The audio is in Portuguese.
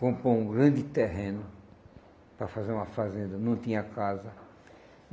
comprou um grande terreno para fazer uma fazenda, não tinha casa.